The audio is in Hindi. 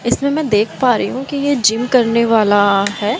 इसमें मै देख पा री हूं कि ये जिम करने वाला है।